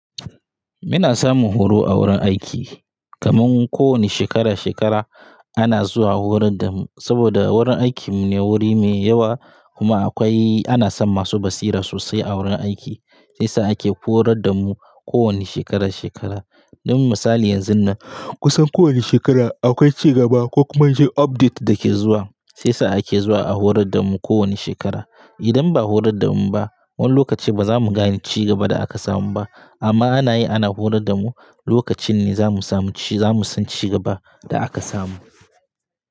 Ina samun horo a wurin aiki kaman ko wane shekara-shekara ana zuwa horar da mu saboda wurin aikin mu ne wuri me yawa kuma akwai ana son masu basira sosai a wurin aiki sai sa ake horar da mu kowane shekara-shekara. Don misali yanzun nan kusan kowane shekara akwai ci gaba ko kuma update dake zuwa sai sa ake zuwa a horar da mu kowane shekara. Idan ba a horar da mu ba wani lokaci ba za mu gane ci gaban da aka samu ba amma ana yi ana horar da mu lokacin ne za mu samu ci za mu san ci gaban da aka samu.